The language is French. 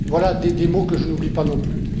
Voilà des mots que je n'oublie pas non plus.